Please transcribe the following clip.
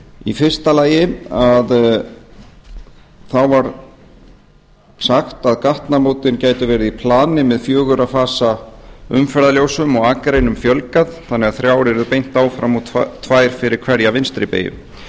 í fyrsta lagi var sagt að gatnamótin gætu verið í plani með fjögurra fasa umferðarljósum og akreinum fjölgað þannig að þrjár yrðu beint áfram og tvær fyrir hverja vinstri beygju